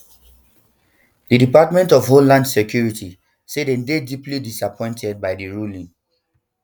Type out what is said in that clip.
di department of homeland security say dem dey deeply disappointed by di ruling